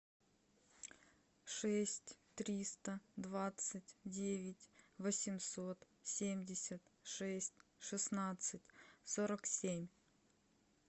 шесть триста двадцать девять восемьсот семьдесят шесть шестнадцать сорок семь